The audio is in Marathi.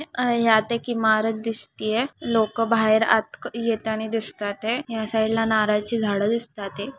यात एक इमारत दिसतिये लोक बाहेर आत येतानी दिसतात ये या साइड ला नारळाचे झाड दिसतात ये.